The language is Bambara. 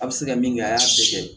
A bɛ se ka min kɛ a y'a bɛɛ kɛ